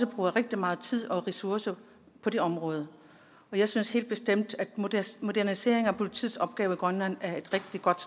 bruger rigtig meget tid og mange ressourcer på det område jeg synes helt bestemt at en modernisering af politiets opgaver i grønland er rigtig godt